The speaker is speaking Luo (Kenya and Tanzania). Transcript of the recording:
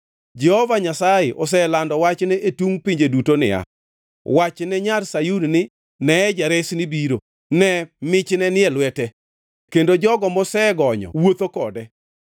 Jehova Nyasaye oselando wachne e tung pinje duto niya: “Wachne nyar Sayun ni, ‘Ne, Jaresni biro! Ne, michne ni e lwete kendo jogo mosegonyo wuotho kode.’ ”